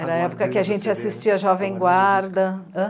Era a época em que a gente assistia Jovem Guarda.